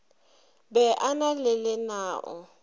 be a na le lenao